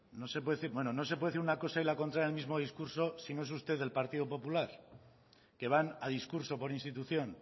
no se puede decir bueno no se puede decir una cosa y la contraria en el mismo discurso si no es usted del partido popular que van a discurso por institución